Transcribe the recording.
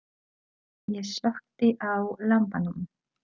Ég slökkti á lampanum.